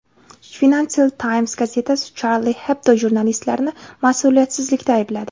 Financial Times gazetasi Charlie Hebdo jurnalistlarini mas’uliyatsizlikda aybladi.